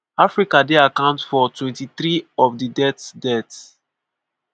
africa dey account for 23 percent of di deaths. deaths.